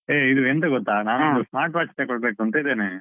A ಇದು ಎಂತ ಗೊತ್ತಾ ನಾನೊಂದು smart watch ತಕೊಳ್ಬೇಕು ಅಂತ ಇದ್ದೇನೆ.